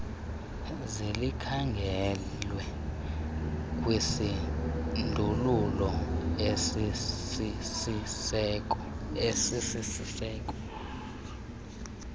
zlikhangelwe kwisindululo esisisiseko